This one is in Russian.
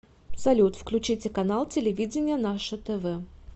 салют включите канал телевидения наше тв